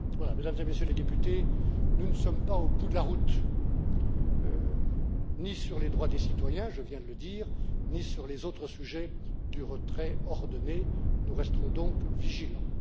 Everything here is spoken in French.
Mesdames et Messieurs les députés, nous ne sommes pas au bout de la route ni sur les droits des citoyens je viens de le dire ni sur les autres sujets du retrait ordonné, nous resterons donc vigilants.